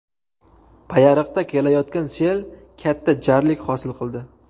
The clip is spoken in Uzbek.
Payariqda kelayotgan sel katta jarlik hosil qildi .